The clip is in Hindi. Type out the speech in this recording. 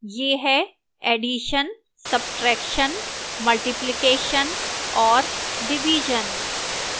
यह है addition subtraction multiplication और division